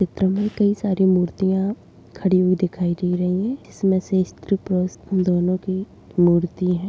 चित्र में कई सारी मूर्तियाँ खड़ी हुई दिखाई दे रही हैं जिसमें से स्त्री पुरुष दोनों की मूर्ति है।